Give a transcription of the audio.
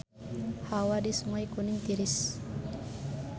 Hawa di Sungai Kuning tiris